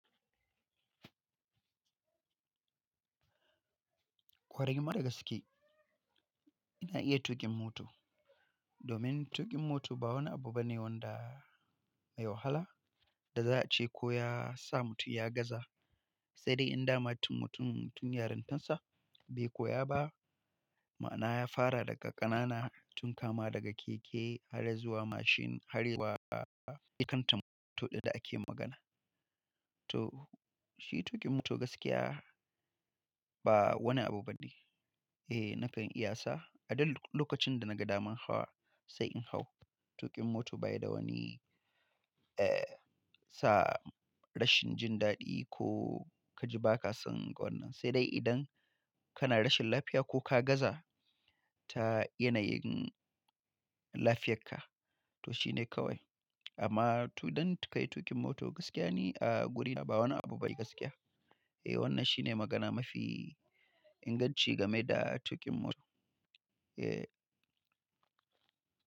Kwarai, ma da gaske. Ina iya tuƙin mota. Domin tuƙin moto ba wani abu bane wanda mai wahala da za a ce ko ya sa mutum ya gaza. Sai dai inda man tun mutum, tun yarantansa bai koya ba. Ma'ana ya fara daga ƙanana tun kama daga keke har zuwa mashin har zuwa ita kantan mota ɗin da ake magana. To shi tuƙin mota gaskiya ba wani abu bane. Eh nakan iya sa. A duk lokacin da na ga damar hawa sai in hau. Tuƙin mota bayi da wani, eh, sa rashin jin daɗi ko ka ji ba ka son wannan. Sai dai idan kana rashin lafiya ko ka gaza ta yanayin lafiyarka to shine kawai. Amma to ɗan ka yi tuƙin mota gaskiya ne a guri ba wani abu bane gaskiya. Eh wannan shine magana mafi inganci game da tuƙin mota. Eh.